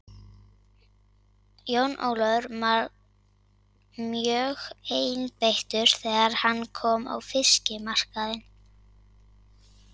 Jón Ólafur var mjögeinbeittur þegar hann kom á fiskmarkaðinn.